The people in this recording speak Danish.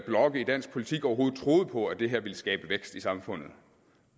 blokke i dansk politik overhovedet troede på at det her ville skabe vækst i samfundet